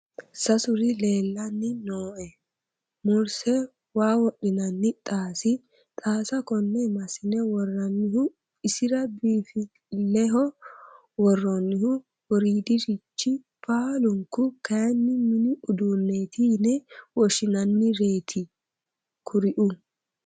Sasuri leellanni nooe, murse waa wodhinanni xaasi, xaasa kone massine worranihu isira biinfileho woronihu woridirichi baallunku kayinni mini uduuneti yine woshshinannireti kuriu.